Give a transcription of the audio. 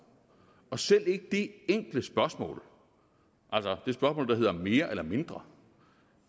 og selv ikke det enkle spørgsmål om mere eller mindre